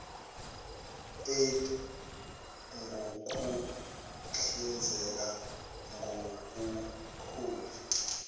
eidd ngukuhlinzeka ngobuholi